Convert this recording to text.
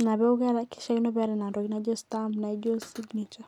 Ina peku kishaakino peeta nena tokiting naijo stamp naijo signature.